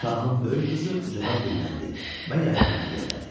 Şahın böyük qızı ucadan dilləndi və yaylığını yellədi.